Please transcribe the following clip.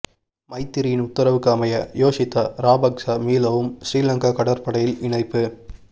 மைத்திரியின் உத்தரவுக்கு அமைய யோஷித்த ராபக்ச மீளவும் ஸ்ரீலங்கா கடற்படையில் இணைப்பு